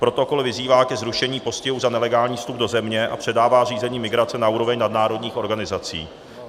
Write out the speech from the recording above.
Protokol vyzývá ke zrušení postihu za nelegální vstup do země a předává řízení migrace na úroveň nadnárodních organizací.